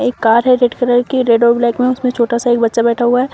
एक कार है red colour की रेड और ब्लैक में उसमें छोटा सा एक बच्चा बैठा हुआ है।